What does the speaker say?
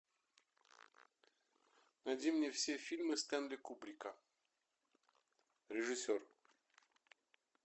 найди мне все фильмы стэнли кубрика режиссер